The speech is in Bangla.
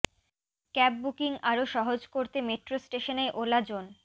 ক্যাব বুকিং আরও সহজ করতে মেট্রো স্টেশনেই ওলা জোন